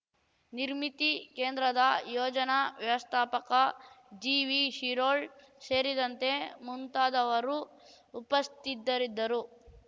ನಿರ್ಮಿತಿ ಕೇಂದ್ರದ ಯೋಜನಾ ವ್ಯವಸ್ಥಾಪಕ ಜಿವಿಶಿರೋಳ್ ಸೇರಿದಂತೆ ಮುಂತಾದವರು ಉಪಸ್ಥಿದ್ದರಿದ್ದರು